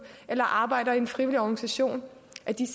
eller arbejder i en frivillig organisation